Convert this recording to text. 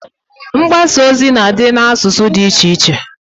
Mgbasa ozi na adị n'asụsụ dị iche iche